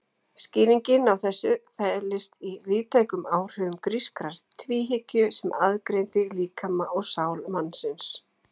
Skýringin á þessu felist í víðtækum áhrifum grískrar tvíhyggju sem aðgreindi líkama og sál mannsins.